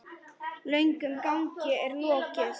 Löngum gangi er lokið.